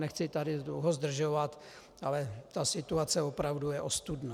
Nechci tady dlouho zdržovat, ale ta situace opravdu je ostudná.